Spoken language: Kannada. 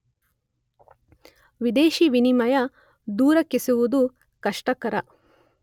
ವಿದೇಶಿ ವಿನಿಮಯ ದೊರಕಿಸುವುದು ಕಷ್ಟಕರ.